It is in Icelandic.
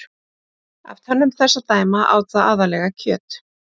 Af tönnum þess að dæma át það aðallega kjöt.